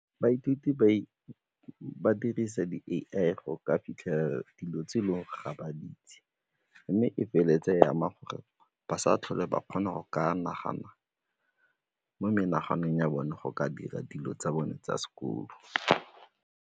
Baithuti ba dirisa di A_I go ka fitlhelela dilo tse e leng gore ga ba itse mme e feleletse e ama gore ba sa tlhole ba kgona go ka nagana mo menaganong ya bone go ka dira dilo tsa bone tsa sekolo.